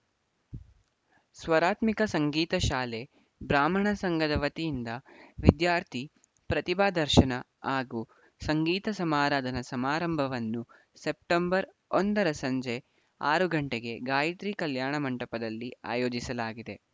ಸ್ವರಾತ್ಮಿಕ ಸಂಗೀತ ಶಾಲೆ ಬ್ರಾಹ್ಮಣ ಸಂಘದ ವತಿಯಿಂದ ವಿದ್ಯಾರ್ಥಿ ಪ್ರತಿಭಾ ದರ್ಶನ ಹಾಗೂ ಸಂಗೀತ ಸಮಾರಾಧನಾ ಸಮಾರಂಭವನ್ನು ಸೆಪ್ಟೆಂಬರ್ ಒಂದರ ಸಂಜೆ ಆರು ಗಂಟೆಗೆ ಗಾಯತ್ರಿ ಕಲ್ಯಾಣ ಮಂಟಪದಲ್ಲಿ ಆಯೋಜಿಸಲಾಗಿದೆ